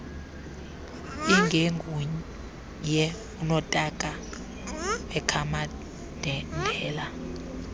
ingenguye unotaka wekhamandela